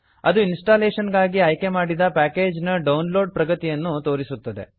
ಅದು ಇನ್ಸ್ಟಾಲೇಶನ್ ಗಾಗಿ ಆಯ್ಕೆ ಮಾಡಿದ ಪ್ಯಾಕೇಜಿನ ಡೌನ್ ಲೋಡ್ ಪ್ರಗತಿಯನ್ನು ತೋರಿಸುತ್ತದೆ